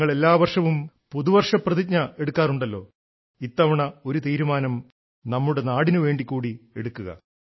നിങ്ങൾ എല്ലാ വർഷവും പുതുവർഷ പ്രതിജ്ഞ എടുക്കാറുണ്ടല്ലോ ഇത്തവണ ഒരു റെസല്യൂഷൻ നമ്മുടെ നാടിനു വേണ്ടി കൂടി എടുക്കുക